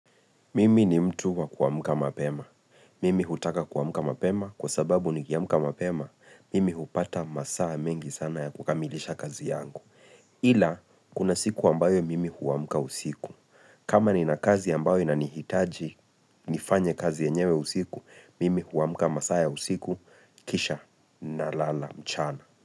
Mimi ni mtu wa kuamuka mapema. Mimi hutaka kuamka mapema kwa sababu nikiamka mapema. Mimi hupata masaa mengi sana ya kukamilisha kazi yangu. Ila, kuna siku ambayo mimi huamka usiku. Kama nina kazi ambayo inanihitaji, nifanye kazi yenyewe usiku, mimi huamka masaa ya usiku kisha na lala mchana.